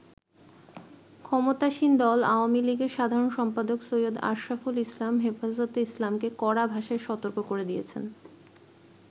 ক্ষমতাসীন দল আওয়ামী লীগের সাধারণ সম্পাদক সৈয়দ আশরাফুল ইসলাম হেফাজতে ইসলামকে কড়া ভাষায় সতর্ক করে দিয়েছেন।